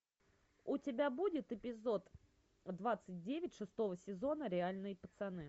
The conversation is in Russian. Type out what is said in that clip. у тебя будет эпизод двадцать девять шестого сезона реальные пацаны